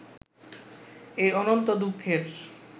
এই অনন্ত দুঃখের